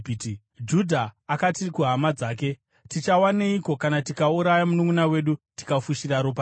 Judha akati kuhama dzake, “Tichawaneiko kana tikauraya mununʼuna wedu tikafushira ropa rake?